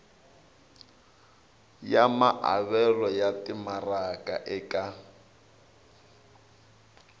ya maavelo ya timaraka eka